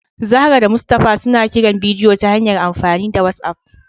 Zahra da Mustafa suna kiran bidiyo ta hanyar amfani da whatsapp